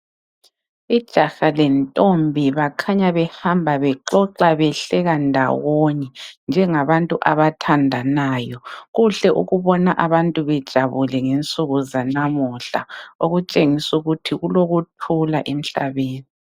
Ijaha lentombi bakhanya behamba bexoxa behleka ndawonye njengabantu abathandanayo. Kuhle ukubona abantu bejabule ngensuku zanamuhla okutshengisa ukuthi kulokuthula emhlabeni.